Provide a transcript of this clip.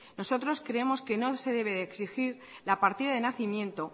nosotros creemos que no se debe de exigir la partida de nacimiento